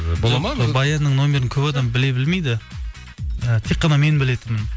баянның нөмірін көп адам біле білмейді і тек қана мен білетінмін